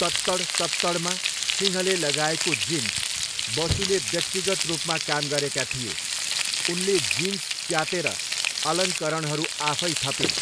तत्तड तत्तडमा सिंहले लगाएको जिन्स बसुले व्यक्तिगत रूपमा काम गरेका थिए, उनले जिन्स च्यातेर अलङ्करणहरू आफै थपिन्।